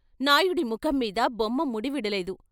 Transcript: నాయుడి ముఖం మీద బొమ్మ ముడివిడలేదు.